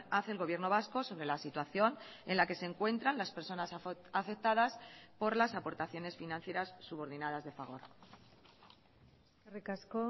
hace el gobierno vasco sobre la situación en la que se encuentran las personas afectadas por las aportaciones financieras subordinadas de fagor eskerrik asko